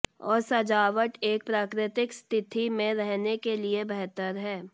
और सजावट एक प्राकृतिक स्थिति में रहने के लिए बेहतर है